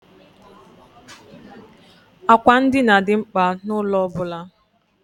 Àkwà ndina dị mkpa n'ụlọ ọ bụla.